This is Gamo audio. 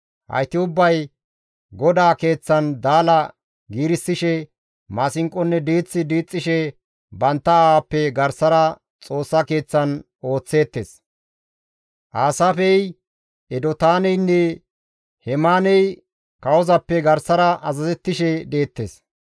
Hayti ubbay GODAA keeththan daala giirissishe, maasinqonne diith diixxishe bantta aawappe garsara Xoossa Keeththan ooththeettes. Aasaafey, Edotaaneynne Hemaaney kawozappe garsara azazettishe deettes.